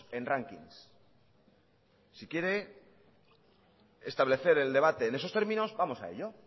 en rankings si quiere establecer el debate en eso términos vamos a ello